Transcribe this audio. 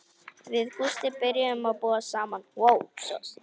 Við Gústi byrjuðum að búa saman.